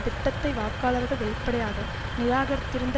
திட்டத்தை வாக்காளர்கள் வெளிப்படையாக நிராகரித்திருந்த